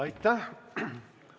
Aitäh!